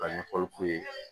Ka ɲɛfɔli k'u ye